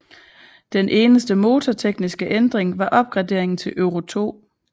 Den eneste motortekniske ændring var opgraderingen til Euro2